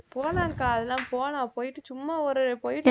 போலாம் அக்கா அதெல்லாம் போலாம் போயிட்டு சும்மா ஒரு போயிட்~